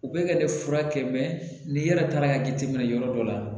U bɛ ka ne furakɛ ni yɛrɛ taara ka jateminɛ yɔrɔ dɔ la